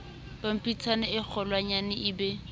pampitshaneng e kgolwanyane e be